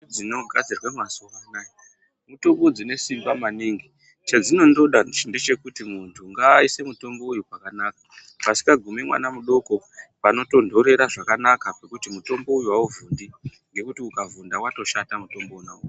Dzinogadzirwe mazuwa anaya mitombo dzine simba maningi chedzinondoda ndechekuti muntu ngaise mutombo uyu pakanaka pasikagumi mwana mudoko panotontorera zvakanaka pekuti mutombo uyu hauvhundi ngekuti ukavhunda watoshatamutombo wonawo.